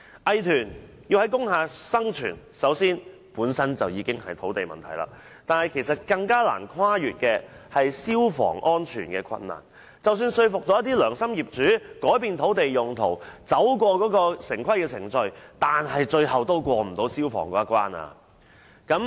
藝團要在工廈生存，首先是土地問題，但其實更難跨越的是消防安全的困難，即使能夠說服良心業主改變土地用地，通過城規程序，最後也無法通過消防一關。